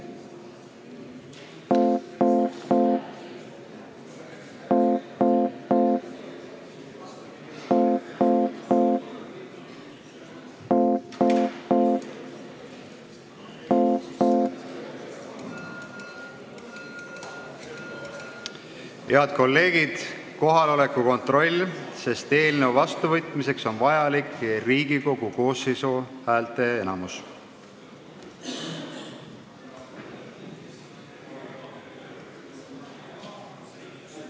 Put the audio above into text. Head kolleegid, teeme kohaloleku kontrolli, sest eelnõu vastuvõtmiseks on vajalik Riigikogu koosseisu häälteenamus.